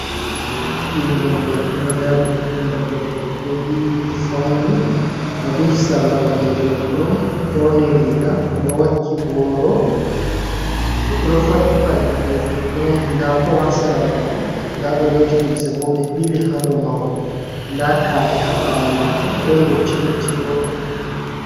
Ɓingel debbo ɗo dari ɓingel debbo do bo yiwi fauni o duhi sarla ɓalejum kurum ɓorni riga oɗowakki boro oɗo faɗɗi paɗe balejum kurum nda po hasira mako nda ɓe loti limse bo ɓe ɓili hado mahol da ka’iae habawo mako don dotti dotti bo